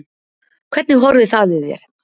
Hvernig horfði það við þér?